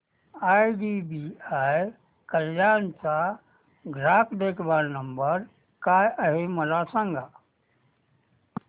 IDBI Kalyan चा ग्राहक देखभाल नंबर काय आहे मला सांगा